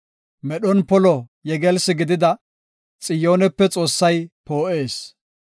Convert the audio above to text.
Medhon polo yegelsi gidida Xiyoonepe Xoossay poo7ees.